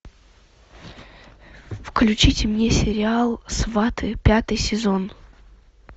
включите мне сериал сваты пятый сезон